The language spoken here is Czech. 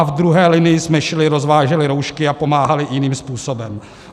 A v druhé linii jsme šili, rozváželi roušky a pomáhali jiným způsobem.